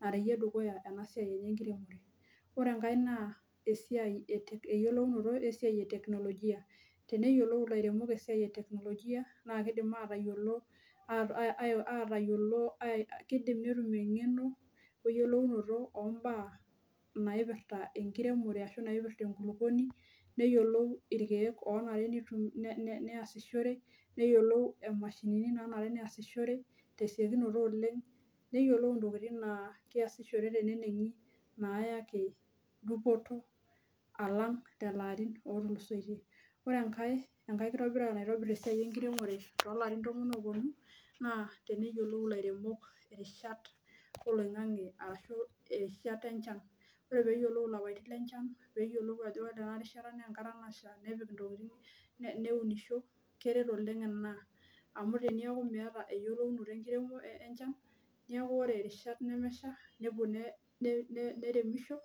narewie dukuya ena siai enye ekiremore ore enkae naa esiai eyiolounoto esiai eteknologia teneyiolou ilairemok esiai eteknologia naa kidim atayiolo kindim netum engeno eyiolounoto ombaa naipirta ekiremore ashu naipirta enkulupuoni neyiolou irkek aifaa neasishore neyiolou imashinini naifaa neasishore tesiokinoto oleng neyiolou tokitin naa keasishore tenenengi nayaki dupoto alang lelo arin otulusoitie ore enkae kirobirata naitobir esiai ekiremore too larin tomon ooponu naa teneyiolou ilairemok irishat oloingange arashu erishita enchan ore pee eyiolou lapaitin lenchan pee eyiolou ajo ore ena rishata na Kesha nepik intokitin neunisho keret oleng ina amu ore tiniaku iyata eyiolounoto ekiremore enchan neaku ore irishat nemeshaa neremisho